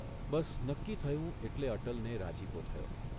બસ નક્કી થયું એટલે અટલને રાજીપો થયો.